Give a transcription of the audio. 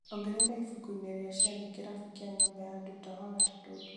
ongerera ibuku-inĩ rĩa ciathĩ kĩrabu kĩa nyũmba ya nduta wagatatũ ũtukũ